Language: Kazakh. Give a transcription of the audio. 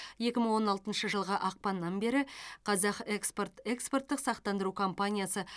екі мың он алтыншы жылғы ақпаннан бері қазақ экспорт экспорттық сақтандыру компаниясы